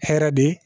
Hɛrɛ de